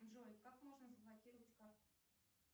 джой как можно заблокировать карту